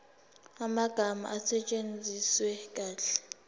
amagama asetshenziswe kahle